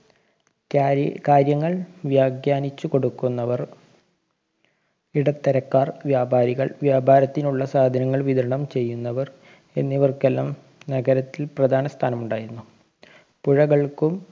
ക്കായി കാര്യങ്ങള്‍ വ്യാഖ്യാനിച്ചു കൊടുക്കുന്നവര്‍, ഇടത്തരക്കാര്‍, വ്യാപാരികള്‍, വ്യാപാരത്തിനുള്ള സാധനങ്ങള്‍ വിതരണം ചെയ്യുന്നവര്‍ എന്നിവര്‍ക്കെല്ലാം നഗരത്തില്‍ പ്രധാനസ്ഥാനം ഉണ്ടായിരുന്നു. പുഴകള്‍ക്കും